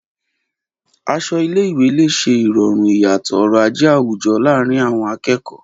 Aṣọ ilé-ìwé lè ṣe ìrọ̀rùn ìyàtọ̀ ọrọ̀ ajé àwùjọ láàárín àwọn akẹ́kọ̀ọ́.